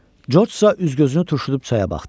Corcsa üz-gözünü turşudub çaya baxdı.